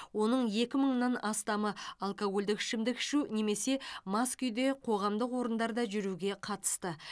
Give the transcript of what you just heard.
оның екі мыңнан астамы алкогольдік ішімдік ішу немесе мас күйде қоғамдық орындарда жүруге қатысты